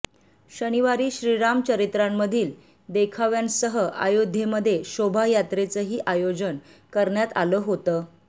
शनिवारी श्रीराम चरित्रांमधील देखाव्यांसह अयोध्येमध्ये शोभायात्रेचही आयोजन करण्यात आलं होतं